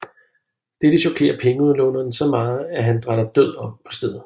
Dette chokerer pengeudlåneren så meget at han dratter død om på stedet